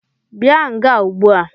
Bia nga Ụgbua!